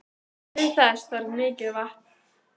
Til þess þarf mikið vatn.